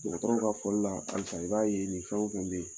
Dɔgɔtɔrɔw ka fɔli la halisa i b'a ye nin fɛn o fɛn be yen